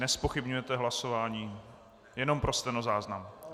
Nezpochybňujete hlasování, jenom pro stenozáznam.